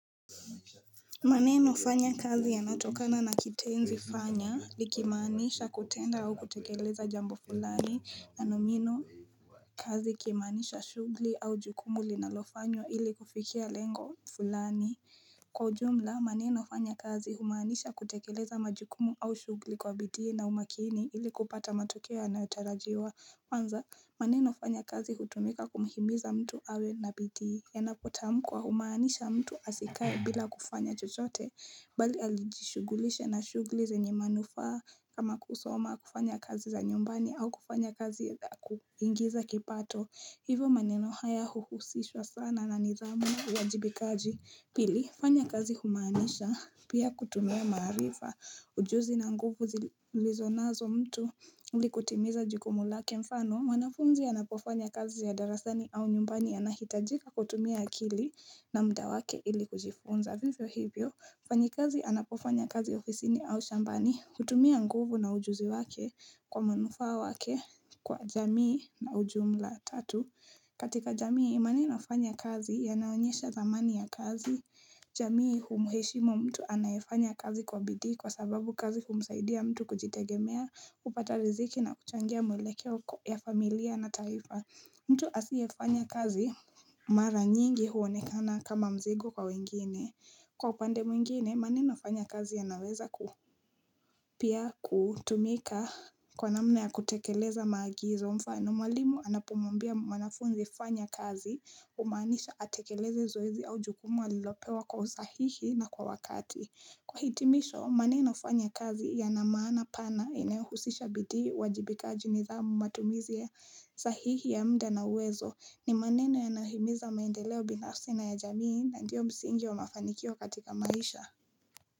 Maneno fanya kazi yanatokana na kitenzi fanya likimaaniisha kutenda au kutekeleza jambo fulani na nomino kazi kimaaniisha shugli au jukumu linalofanyo ili kufikia lengo fulani Kwa ujumla maneno fanya kazi humaanisha kutekeleza majukumu au shugli kwa bidii na umakini ili kupata matokeo yanayotarajiwa kwanza maneno fanya kazi utumika kumhimiza mtu awe na bidii yanapotamkwa humaanisha mtu asikae bila kufanya chochote Bali alijishugulishe na shugli zenye manufaa kama kusoma kufanya kazi za nyumbani au kufanya kazi za kuingiza kipato hivo maneno haya huhusishwa sana na nidhamu ya jibikaji. Pili, fanya kazi umaanisha pia kutumia maarifa. Ujuzi na nguvu zilizonazo mtu ili kutimiza jukumu lake mfano. Mwanafunzi anapofanya kazi ya darasani au nyumbani anahitajika kutumia akili na mda wake ili kujifunza. Kwa hivyo hivyo, mfanyikazi anapofanya kazi ofisini au shambani, utumia nguvu na ujuzi wake kwa manufaa wake kwa jamii na ujumla tatu. Katika jamii imani nafanya kazi, yanaonyesha dhamani ya kazi. Jamii umuheshimu mtu anayefanya kazi kwa bidhi kwa sababu kazi umsaidia mtu kujitegemea, kupata riziki na kuchangia mwelekeo ya familia na taifa. Mtu asiyefanya kazi mara nyingi uonekana kama mzigo kwa wengine. Kwa upande mwingine, maneno fanya kazi yanaweza pia kutumika kwa namna ya kutekeleza maagizo mfano, mwalimu anapomwambia mwanafunzi fanya kazi umaanisha atekeleze zoezi au jukumu alilopewa kwa usahihi na kwa wakati. Kwa hitimisho maneno fanya kazi yana maana pana inayohusisha bidii uwajibikaji nidhamu matumizi ya sahihi ya mda na uwezo ni maneno yanahimiza maendeleo binafsi na ya jamii na ndiyo msingi wa mafanikio katika maisha.